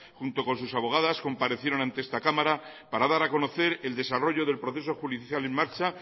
junto con sus abogadas comparecieron ante esta cámara para dar a conocer el desarrollo del proceso judicial en marcha